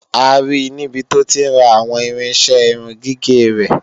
A ri níbi tó ti ń ra àwọn irinṣẹ́ irun gígẹ̀ rẹ̀.